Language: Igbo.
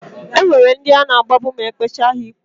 E nwere ndi a na-agbagbu ma e kpechaa ha ikpe.